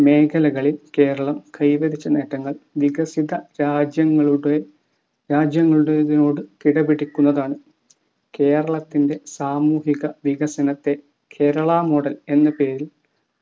മേഖലകളിൽ കേരളം കൈവരിച്ച നേട്ടങ്ങൾ വികസിത രാജ്യങ്ങളുടെ രാജ്യങ്ങളുടേതിനോടു കിടപിടിക്കുന്നതാണ്‌. കേരളത്തിന്റെ സാമൂഹിക വികസനത്തെ കേരളാ model എന്ന പേരിൽ